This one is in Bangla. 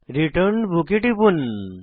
রিটার্ন বুক এ টিপুন